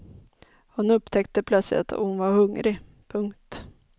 Hon upptäckte plötsligt att hon var hungrig. punkt